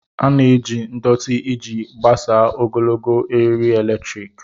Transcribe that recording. A na-eji ndọtị iji gbasaa ogologo eriri eletrik.